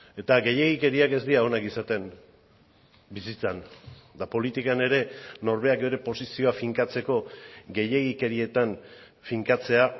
eta gehiegikeriak ez dira onak izaten bizitzan eta politikan ere norberak ere posizioa finkatzeko gehiegikerietan finkatzea